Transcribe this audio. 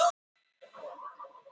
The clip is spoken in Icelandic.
Þriðjungur kjósenda látinn